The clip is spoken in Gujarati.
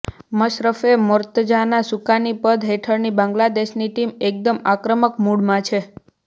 મશરફે મોર્તઝાના સુકાનીપદ હેઠળની બાંગ્લાદેશની ટીમ એકદમ આક્રમક મૂડમાં છે